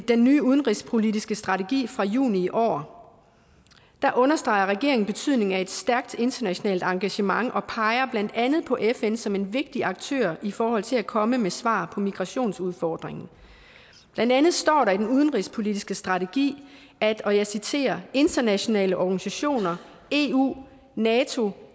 den nye udenrigspolitiske strategi fra juni i år understreger regeringen betydningen af et stærkt internationalt engagement og peger blandt andet på fn som en vigtig aktør i forhold til at komme med svar på migrationsudfordringen blandt andet står der i den udenrigspolitiske strategi at og jeg citerer internationale organisationer eu nato